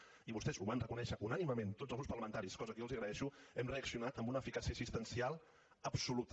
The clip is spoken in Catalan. i vostès ho van reconèixer unànimement tots els grups parlamentaris cosa que jo els agraeixo hem reaccionat amb una eficàcia assistencial absoluta